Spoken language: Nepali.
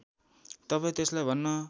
तपाईँ त्यसलाई भन्न